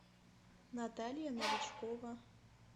наталья новичкова